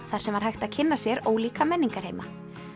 þar sem var hægt að kynna sér ólíka menningarheima